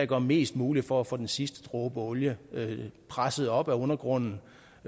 gør mest muligt for at få den sidste dråbe olie presset op af undergrunden